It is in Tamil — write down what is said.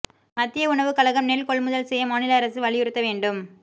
மத்திய உணவுக் கழகம் நெல் கொள்முதல் செய்ய மாநில அரசு வலியுறுத்த வேண்டும்